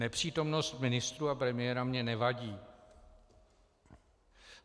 Nepřítomnost ministrů a premiéra mi nevadí.